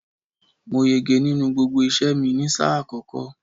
Mo yege nínú gbogbo iṣẹ́ẹ̀ mi ni sáà àkọ́kọ́.